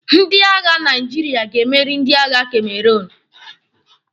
Ndị agha Naijiria ga-emeri ndị agha Cameroun.